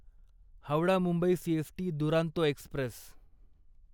Howrah Mumbai CST Duronto Express